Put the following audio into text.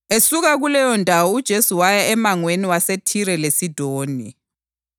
Esuka kuleyondawo uJesu waya emangweni waseThire leSidoni.